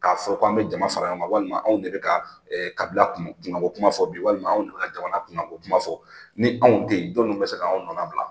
K'a fɔ k'an be jama fara yan ka walima anw de be ka ɛɛ kabila kunkanko kuma fɔ bi walima anw donna ka jamana kunkanko kuma fɔ ni anw te yen jɔnni be se ka anw nɔnna bila?